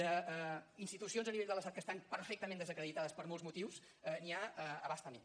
d’institucions a nivell de l’estat que estan perfectament desacreditades per molts motius n’hi ha a bastament